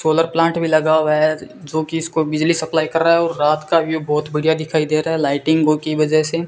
Solar plant भी लगा हुआ है जोकि इसको बिजली सप्लाई कर रहा है और रात का भी बहोत बढ़िया दिखाई दे रहा है लाइटिंग को की वजह से।